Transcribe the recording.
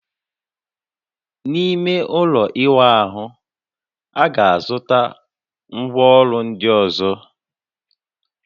N'ime ụlọ ịwa ahụ, a ga-azụta ngwaọrụ ndị ọzọ